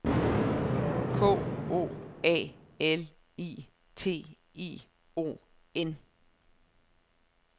K O A L I T I O N